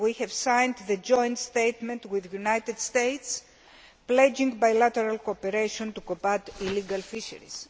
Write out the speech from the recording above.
We have signed the Joint Statement with the United States pledging bilateral cooperation to combat illegal fisheries.